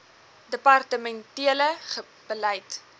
departemen tele beleid